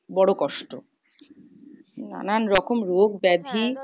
বড় কষ্ট। নানান রকম রোগ ব্যাধি।